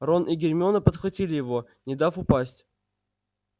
рон и гермиона подхватили его не дав упасть